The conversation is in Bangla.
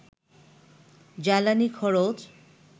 জ্বালানি খরচ